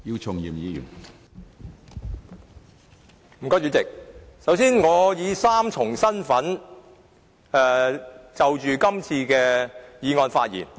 主席，首先，我以三重身份就今次的議案發言。